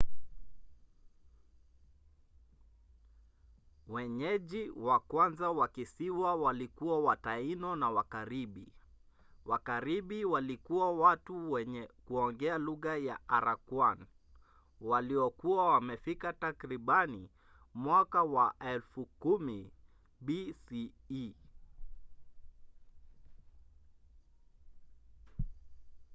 wenyeji wa kwanza wa kisiwa walikuwa wataino na wakaribi. wakaribi walikuwa watu wenye kuongea lugha ya arakwan waliokuwa wamefika takribani mwaka wa 10,000 bce